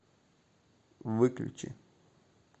выключи